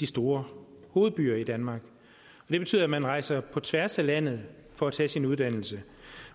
de store hovedbyer i danmark det betyder at man rejser på tværs af landet for at tage sin uddannelse